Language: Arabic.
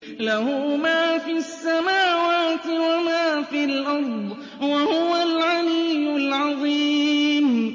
لَهُ مَا فِي السَّمَاوَاتِ وَمَا فِي الْأَرْضِ ۖ وَهُوَ الْعَلِيُّ الْعَظِيمُ